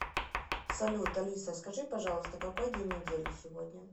салют алиса скажи пожалуйста какой день недели сегодня